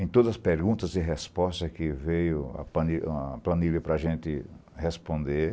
Em todas as perguntas e respostas que veio a planilha a planilha para a gente responder,